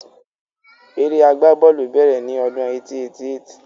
Eré agbá bọ́ọ̀lù bèrè ni ọdún 1888